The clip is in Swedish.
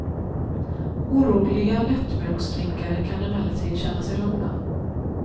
Oroliga lättmjölksdrinkare kan emellertid känna sig lugna.